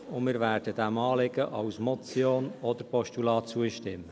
Wir werden dem Anliegen als Motion oder als Postulat zustimmen.